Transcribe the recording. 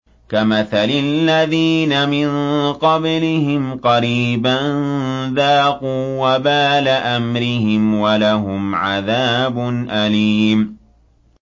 كَمَثَلِ الَّذِينَ مِن قَبْلِهِمْ قَرِيبًا ۖ ذَاقُوا وَبَالَ أَمْرِهِمْ وَلَهُمْ عَذَابٌ أَلِيمٌ